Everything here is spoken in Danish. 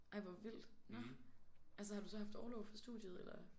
Ej hvor vildt nåh. Altså har du så haft orlov for studiet eller?